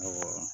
Awɔ